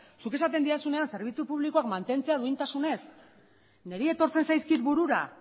zuk esaten didazunean zerbitzu publikoak mantentzea duintasunez niri etortzen zaizkit burura